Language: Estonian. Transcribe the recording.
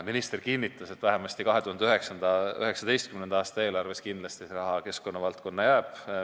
Minister kinnitas, et vähemasti 2019. aasta eelarves jääb see raha kindlasti keskkonnavaldkonda.